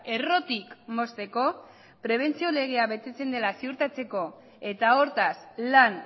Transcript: errotik mozteko prebentzio legea betetzen dela ziurtatzeko eta hortaz lan